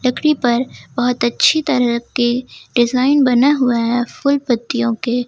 लकड़ी पर बहुत अच्छी तरह के डिजाइन बना हुआ है फूल पत्तियों के।